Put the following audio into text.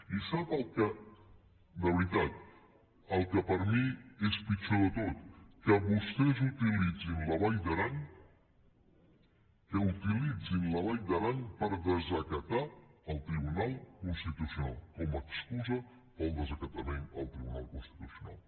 i sap el que de veritat per mi és pitjor de tot que vostès utilitzin la vall d’aran per desacatar el tribunal constitucional com a excusa per al desacatament al tribunal constitucional